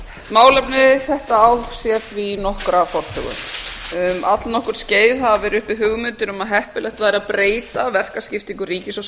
málefni þetta á sér því nokkra forsögu um allnokkurt skeið hafa verið uppi hugmyndir um að heppilegt væri að breyta verkaskiptingu ríkis og